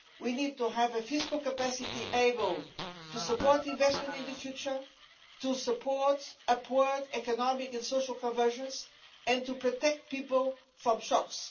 We need to have a fiscal capacity able to support investment in the future, to support upward economic and social convergence and to protect people from shocks.